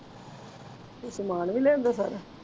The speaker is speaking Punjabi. ਤੂੰ ਸਮਾਨ ਵੀ ਲਿਆਂਦਾ ਸਾਰਾ?